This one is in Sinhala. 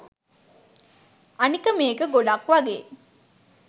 අනික මේක ගොඩක්වගේ